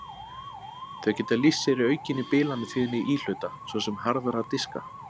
Þau geta lýst sér í aukinni bilanatíðni íhluta, svo sem harðra diska.